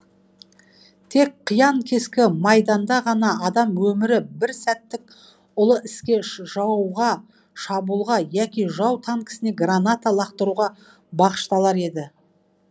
тек қиян кескі майданда ғана адам өмірі бір сәттік ұлы іске жауға шабуылға яки жау танкісіне граната лақтыруға бағышталар еді